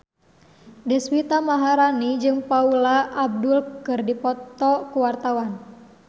Deswita Maharani jeung Paula Abdul keur dipoto ku wartawan